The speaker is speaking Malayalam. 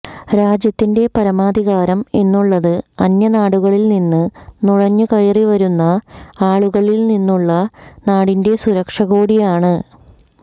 രാജ്യത്തിന്റെ പരമാധികാരം എന്നുള്ളത് അന്യനാടുകളില്നിന്ന് നുഴഞ്ഞുകയറിവരുന്ന ആളുകളില്നിന്നുള്ള നാടിന്റെ സുരക്ഷകൂടിയാണ്